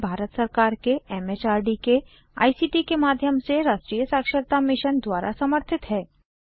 यह भारत सरकार के एमएचआरडी के आईसीटी के माध्यम से राष्ट्रीय साक्षरता मिशन द्वारा समर्थित है